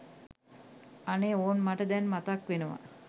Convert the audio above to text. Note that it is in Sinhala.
අනේ ඕන් මට දැන් මතක්වෙනවා!